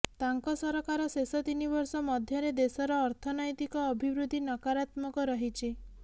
ତାଙ୍କ ସରକାର ଶେଷ ତିନିବର୍ଷ ମଧ୍ୟରେ ଦେଶର ଅର୍ଥନୈତିକ ଅଭିବୃଦ୍ଧି ନକାରାତ୍ମକ ରହିଛି